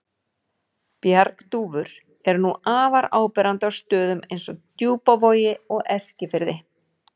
Bjargdúfur eru nú afar áberandi á stöðum eins og Djúpavogi og Eskifirði.